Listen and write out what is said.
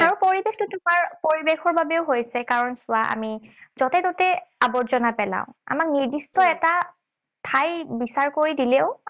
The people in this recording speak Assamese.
আৰু পৰিৱেশটো তোমাৰ, পৰিৱেশৰ বাবেও হৈছে। কাৰণ চোৱা আমি যতে ততে আৱৰ্জনা পেলাওঁ। আমাক নিৰ্দিষ্ট এটা ঠাই বিচাৰ কৰি দিলেও